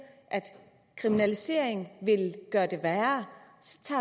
at kriminalisering vil gøre det værre